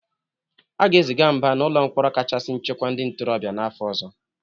A ga-eziga Mba na n'ụlọ mkpọrọ kachasị nchekwa ndị ntorobịa n'afọ ọzọ.